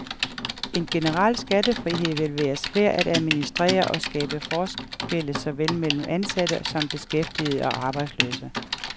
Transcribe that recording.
En generel skattefrihed vil være svær at administrere og skabe forskelle såvel mellem ansatte som beskæftigede og arbejdsløse.